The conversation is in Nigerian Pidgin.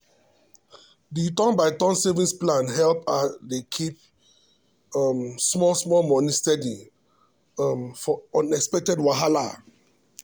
the turn by turn savings plan help her dey keep um small small money steady um for unexpected wahala.